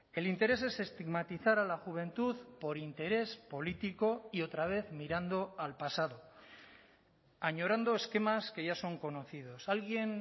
el interés es estigmatizar a la juventud por interés político y otra vez mirando al pasado añorando esquemas que ya son conocidos alguien